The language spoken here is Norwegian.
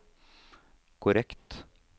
korrekt